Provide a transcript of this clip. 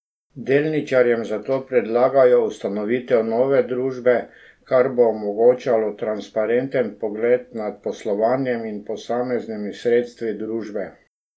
Delničarjem zato predlagajo ustanovitev nove družbe, kar bo omogočalo transparenten pogled nad poslovanjem in posameznimi sredstvi družbe.